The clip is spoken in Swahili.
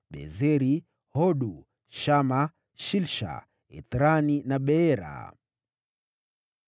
Bezeri, Hodu, Shama, Shilsha, Ithrani na Beera.